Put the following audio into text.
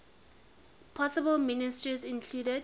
possible ministers included